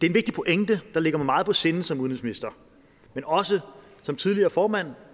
en vigtig pointe der ligger mig meget på sinde som udenrigsminister men også som tidligere formand